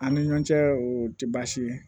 An ni ɲɔn cɛ o tɛ baasi ye